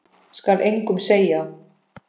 Skal engum segja.